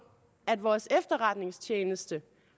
at vores efterretningstjeneste